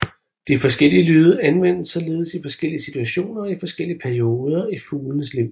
De forskellige lyde anvendes således i forskellige situationer og i forskellige perioder i fuglens liv